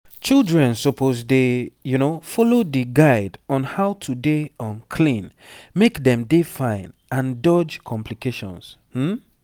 children suppose dey follow di guide on how to dey um clean make dem dey fine and dodge complications um